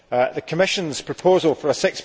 The Commission's proposal for a